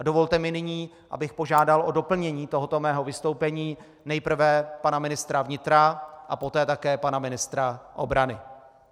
A dovolte mi nyní, abych požádal o doplnění tohoto mého vystoupení nejprve pana ministra vnitra a poté také pana ministra obrany.